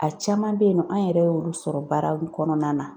A caman be yen nɔ an yɛrɛ y'olu sɔrɔ baara olu kɔnɔna na